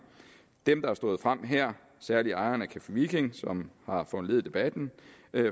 dem der har stået frem her særlig ejeren af café viking som har foranlediget debatten